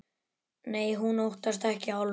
Nei, hún óttast ekki álfa.